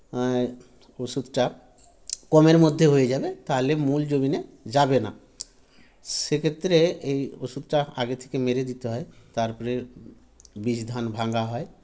এ ওষুধটা কমের মধ্যে হয়ে যাবে তাহলে মূল জমিনে যাবে না সেক্ষেত্রে এই ওষুধটা আগে থেকে মেরে দিতে হয় তারপরে বীজধান ভাঙ্গা হয়